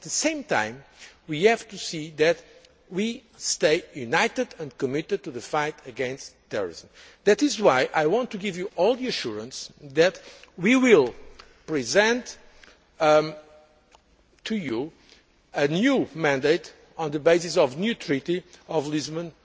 it. At the same time, we have to see to it that we stay united and committed to the fight against terrorism. That is why I want to give you all the assurance that we will present to you a new mandate on the basis of the new Treaty of